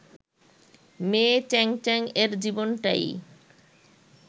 মেয়ে চ্যাং চ্যাং-এর জীবনটাই